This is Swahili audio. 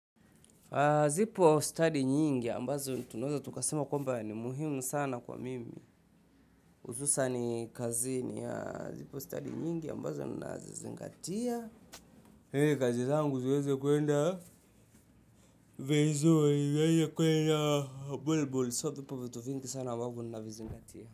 Zipo study nyingi ambazo tunaweza tukasema kwamba ni muhimu sana kwangu. Hususan kazinii, zipo study nyingi ambazo ninazizingatia. Hizi kazi zangu zinaweza kwenda vizuri, zinaweza kwenda bulbul, so vipo vitu vingi sana ambavyo ninavizingatia.